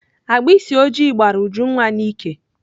Agbịsị oji gbara Ujunwa n'íkè